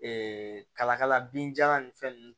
kalakala binjalan nin fɛn ninnu